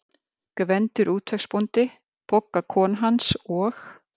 Gvendur útvegsbóndi, Bogga kona hans og